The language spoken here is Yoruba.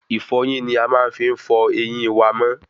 Ìfọyín ní a fí máa ń fọ ẹyìn wa mọ́